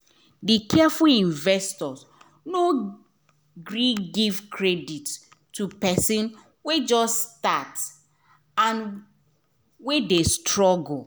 d careful investor no gree give credit to person wey just start and wey dey struggle